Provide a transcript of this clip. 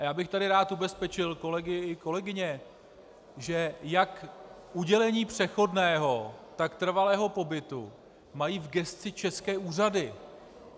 A já bych tady rád ubezpečil kolegy i kolegyně, že jak udělení přechodného, tak trvalého pobytu mají v gesci české úřady.